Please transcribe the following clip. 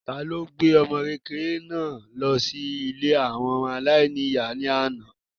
ta ni ó gbé ọmọkékeré náà lọ sí ilé àwọn ọmọ aláìní-ìyá ní àná?